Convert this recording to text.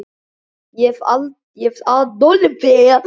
Ég hef Adolf mér til samlætis.